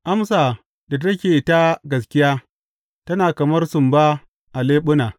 Amsa da take ta gaskiya tana kamar sumba a leɓuna.